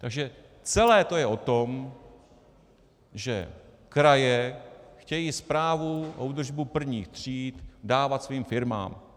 Takže celé to je o tom, že kraje chtějí správu a údržbu prvních tříd dávat svým firmám.